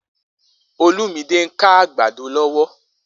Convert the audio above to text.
Olumide n ká àgbàdó lọwọ